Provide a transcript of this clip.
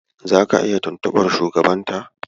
Zaka iya tuntuɓar shugabanta.